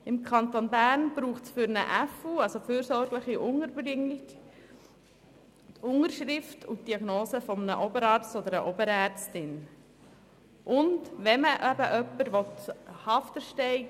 Im Kanton Bern braucht es für eine fürsorgerische Unterbringung die Unterschrift sowie die Diagnose einer Oberärztin oder eines Oberarztes.